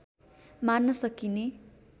मान्न सकिने